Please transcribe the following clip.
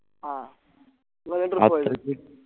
ആ